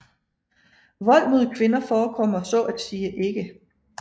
Vold mod kvinder forekommer så at sige ikke